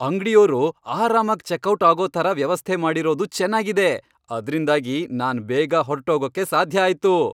ಅಂಗ್ಡಿಯೋರು ಆರಾಮಾಗ್ ಚೆಕ್ಔಟ್ ಆಗೋ ಥರ ವ್ಯವಸ್ಥೆ ಮಾಡಿರೋದು ಚೆನಾಗಿದೆ, ಅದ್ರಿಂದಾಗಿ ನಾನ್ ಬೇಗ ಹೊರ್ಟ್ಹೋಗಕ್ಕೆ ಸಾಧ್ಯ ಆಯ್ತು.